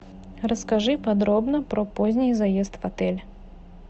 расскажи подробно про поздний заезд в отель